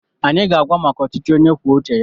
Anyị ga-agwa maka ọchịchị onye kwuo uche ya.